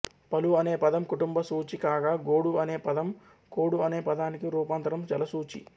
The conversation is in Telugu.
పలు అనే పదం కుటుంబ సూచి కాగా గోడు అనే పదం కోడు అనే పదానికి రూపాంతరం జలసూచి